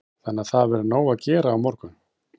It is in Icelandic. Lillý: Þannig að það verður nóg að gera á morgun?